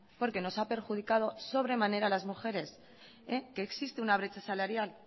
porque nos ha perjudicado sobremanera a las mujeres que existe una brecha salarial